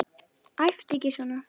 Æptu ekki svona!